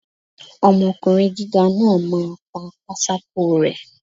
Ọmọkùnrin gíga náà máa pa pátákó rẹ́.